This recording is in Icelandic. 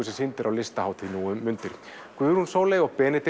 sem sýnd er á Listahátíð nú um mundir Guðrún Sóley